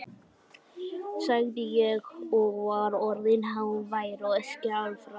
sagði ég, og var orðinn hávær og skjálfraddaður.